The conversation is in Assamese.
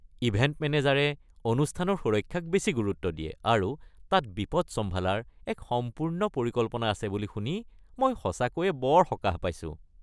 ইভেণ্ট মেনেজাৰে অনুষ্ঠানৰ সুৰক্ষাক বেছি গুৰুত্ব দিয়ে আৰু তাত বিপদ চম্ভালাৰ এক সম্পূৰ্ণ পৰিকল্পনা আছে বুলি শুনি মই সঁচাকৈয়ে বৰ সকাহ পাইছোঁ।